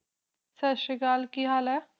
ਸਾਸਰੀਕਾਲ ਕਿ ਹਾਲ ਹੈ?